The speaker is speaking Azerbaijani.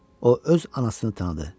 O öz anasını tanıdı.